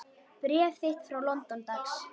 Bréf þitt frá London, dags.